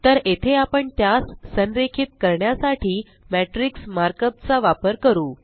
तर येथे आपण त्यास संरेखित करण्यासाठी मॅट्रिक्स मार्कअप चा वापर करू